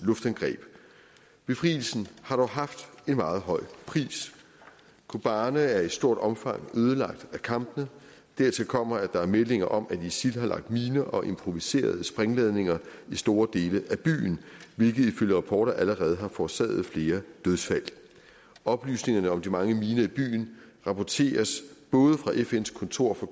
luftangreb befrielsen har dog haft en meget høj pris kobane er i stort omfang ødelagt af kampene dertil kommer at der er meldinger om at isil har lagt miner og improviserede sprængladninger i store dele af byen hvilket ifølge rapporter allerede har forårsaget flere dødsfald oplysningerne om de mange miner i byen rapporteres både fra fns kontor for